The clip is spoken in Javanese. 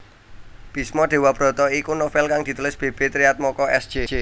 Bisma Dewabrata iku novél kang ditulis B B Triatmoko S J